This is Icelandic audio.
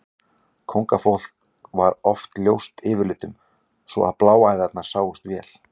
Kóngafólk var oft ljóst yfirlitum svo að bláæðarnar sáust vel.